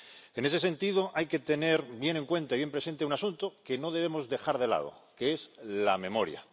En ese sentido, hay que tener bien en cuenta y bien presente un asunto que no debemos dejar de lado, que es la memoria.